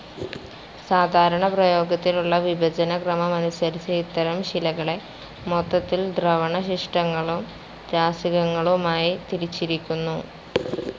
സാധാരണ പ്രയോഗത്തിലുള്ള വിഭജനക്രമമനുസരിച്ച് ഇത്തരം ശിലകളെ മൊത്തത്തിൽ ദ്രവണശിഷ്ടങ്ങളും രാസികങ്ങളുമായി തിരിച്ചിരിക്കുന്നു.